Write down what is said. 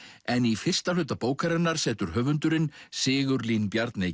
en í fyrsta hluta bókarinnar setur höfundurinn Sigurlín Bjarney